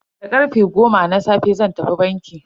Da karfe goma na safe zan tafi banki.